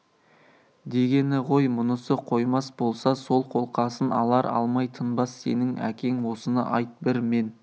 дегені ғой мұнысы қоймас болса сол қолқасын алар алмай тынбас сенің әкең осыны айт бір мен